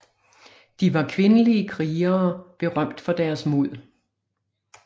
De var kvindelige krigere berømt for deres mod